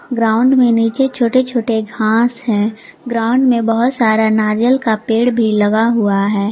Ground में नीचे छोटे छोटे घास हैं ग्राउंड में बहुत सारा नारियल का पेड़ भी लगा हुआ है।